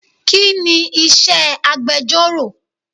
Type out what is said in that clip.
Kini iṣẹ́ agbẹjoro?